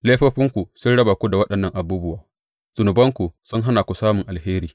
Laifofinku sun raba ku da waɗannan abubuwa; zunubanku sun hana ku samun alheri.